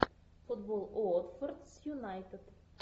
футбол уотфорд с юнайтед